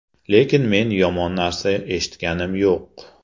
Lekin men yomon narsa eshitganim yo‘q.